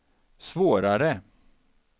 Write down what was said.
svårare